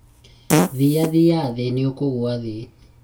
thia thia thĩ nĩũkũgũa thĩ